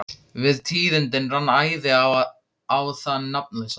Við tíðindin rann æði á þann nafnlausa.